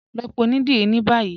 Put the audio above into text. Lọ pẹ̀ ọ̀nidírí ni báyì.